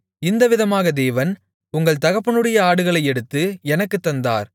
இந்த விதமாகத் தேவன் உங்கள் தகப்பனுடைய ஆடுகளை எடுத்து எனக்குத் தந்தார்